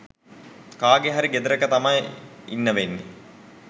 කාගේ හරි ගෙදරක තමයි ඉන්න වෙන්නේ